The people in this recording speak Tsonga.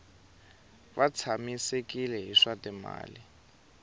va tshamisekile hi swa timali